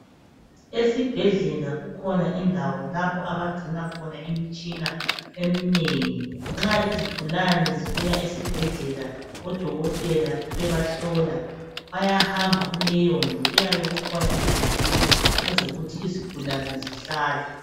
Esibhedlela kukhona indawo lapho abagcina khona imitshina eminengi. Nxa izigulane zibuya esibhedlela odokotela bebahlola bayahamba kuleyondlu kuyabekukhona izitulo ezokuthi izigulane zihlale.